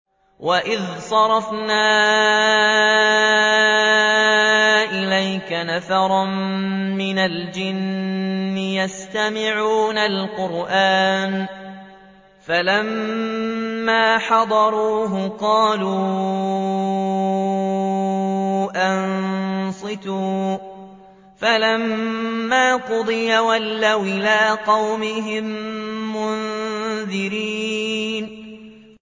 وَإِذْ صَرَفْنَا إِلَيْكَ نَفَرًا مِّنَ الْجِنِّ يَسْتَمِعُونَ الْقُرْآنَ فَلَمَّا حَضَرُوهُ قَالُوا أَنصِتُوا ۖ فَلَمَّا قُضِيَ وَلَّوْا إِلَىٰ قَوْمِهِم مُّنذِرِينَ